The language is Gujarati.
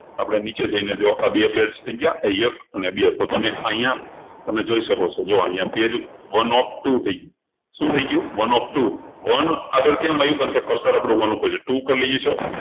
આપણે નીચે જઈને જુઓ આ બે page થઇ ગયા આ એક અને આ બે તો તમે અહિયાં તમે જોઈ શકો છો જો અહિયાં pageone of two થઇ ગયું શું થઇ ગયું one of twoone આગળ કેમ આવ્યું કારણકે cursor આપણું one પર છે two પર લઇ જઈશું